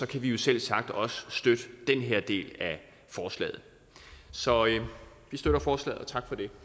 kan vi selvsagt også støtte den her del af forslaget så vi støtter forslaget